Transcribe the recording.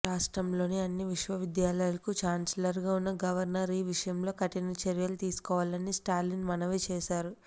రాష్ట్రంలోని అన్ని విశ్వవిద్యాలయాలకు చాల్సలర్ గా ఉన్న గవర్నర్ ఈ విషయంలో కఠిన చర్యలు తీసుకోవాలని స్టాలిన్ మనవి చేశారు